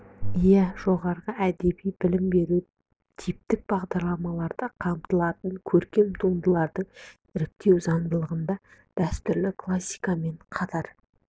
иә жоғары әдеби білім беруде типтік бағдарламаларда қамтылатын көркем туындыларды іріктеу заңдылығында дәстүрлі классика мен қатар